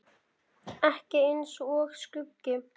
Ekki eins og skuggi.